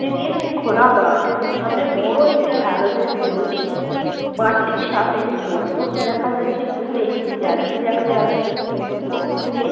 এটি একটি খোলা মাঠ। সামনে বড় একটি হ্যালোজেন জ্বলছে। মাঠটির সামনে একটি গোলপোস্ট দেখা যাচ্ছে। দূরে একটি গ্যালারি দেখা যাচ্ছে। ও দূরে --